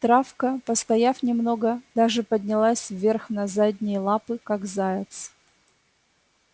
травка постояв немного даже поднялась вверх на задние лапы как заяц